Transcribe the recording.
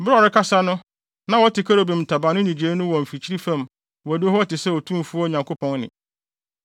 Bere a ɔrekasa no na wɔte kerubim ntaban no nnyigyei no wɔ mfikyiri fam adiwo hɔ te sɛ Otumfo Nyankopɔn nne.